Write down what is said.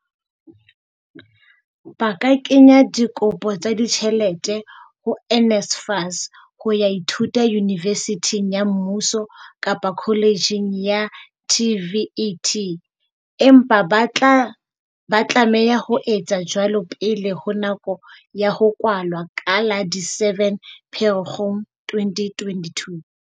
Ba ka kenya dikopo tsa di tjhelete ho NSFAS ho ya ithuta yunivesithing ya mmuso kapa koletjheng ya TVET, empa ba tlameha ho etsa jwalo pele ho nako ya ho kwalwa ka la di 7 Pherekgong 2022.